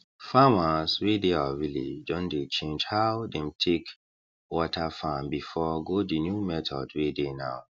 farmers wey dey our village don dey change how them take water farm before go the new methods wey dey now